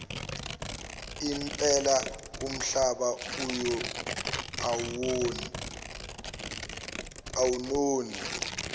impela umhlaba awunoni